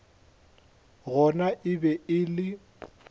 gona e be e le